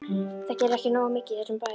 Það gerist ekki nógu mikið í þessum bæ.